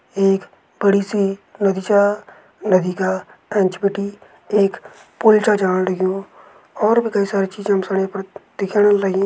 एक बड़ी सी नदी छा। नदी का एंच बटी एक पुल छ जाण लग्युं। और भी कई सारी चीजें हम सणी य पर दिखेण लगीं।